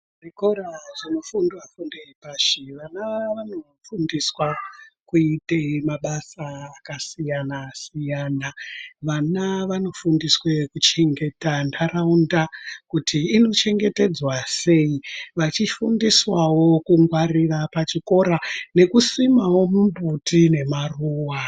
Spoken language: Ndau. Zvikora zvinofundwa fundo yepashi vana vanofundiswe kuite mabasa akasiyana-siyana. Vana vanofundiswe kuchengeta ntaraunda kuti inochengetedzwa sei. Vachifundiswawo kungwarira chikora nekusimawo mimbuti nemaruwa.